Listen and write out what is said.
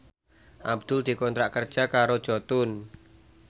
Abdul dikontrak kerja karo Jotun